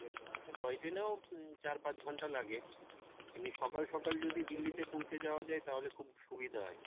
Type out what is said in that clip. আর toy train এও চার পাঁচ ঘণ্টা লাগে এমনি সকাল সকাল যদি দিল্লি তে পৌঁছে যাওয়া যাই তাহলে খুব সুবিধা হয়।